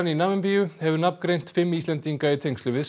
í Namibíu hefur nafngreint fimm Íslendinga í tengslum við